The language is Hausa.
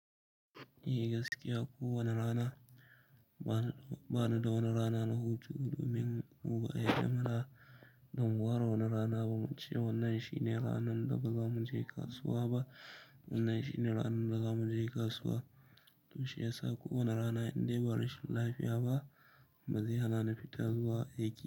Eh gaskiya. Ko wane rana, ba ni da wani rana na hutu domin muba'a yadda mana don mu ware wani rana ba muce wannan shine ranar da ba za mu je kasuwa ba. Wannan shine ranar da za mu je kasuwa. To shiyasa ko wane rana in dai ba rashin lafiya ba, ba zai hana ni fita zuwa aiki.